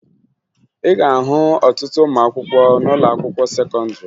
Ị ga-ahụ ọtụtụ ụmụakwụkwọ n'ụlọakwụkwọ sekọndịrị